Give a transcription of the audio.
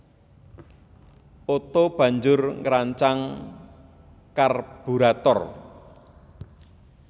Otto banjur ngrancang karburator